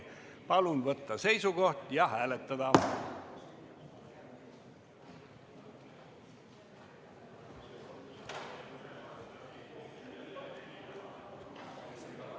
Palun võtta seisukoht ja hääletada!